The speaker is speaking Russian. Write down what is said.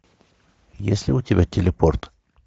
есть ли у тебя телепорт